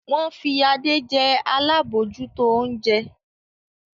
Wọ́n fi Adé jẹ alábòójútó oúnjẹ.